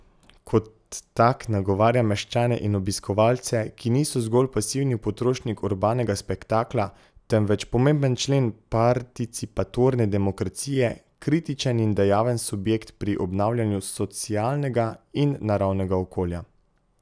Kot tak nagovarja meščane in obiskovalce, ki niso zgolj pasivni potrošnik urbanega spektakla, temveč pomemben člen participatorne demokracije, kritičen in dejaven subjekt pri obnavljanju socialnega in naravnega okolja.